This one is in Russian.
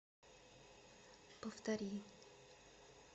повтори